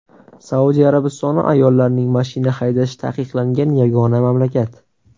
Saudiya Arabistoni ayollarning mashina haydashi taqiqlangan yagona mamlakat.